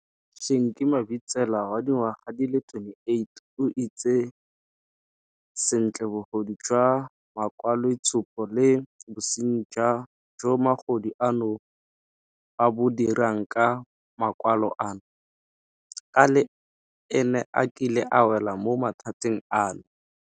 Shenki Mabitsela, wa dingwaga di le 28, o itse sentle bogodu jwa makwaloitshupo le bosenyi jo magodu ano ba bo dirang ka makwalo ano, ka le ene a kile a wela mo mathateng ano.